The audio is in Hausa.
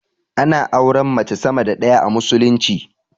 Ana auren mace sama da ɗaya a musulunci